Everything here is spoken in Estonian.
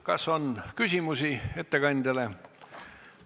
Kas on küsimusi ettekandjale?